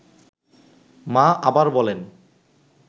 মা আবার বলেন